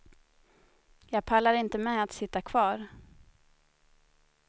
Jag pallar inte med att sitta kvar.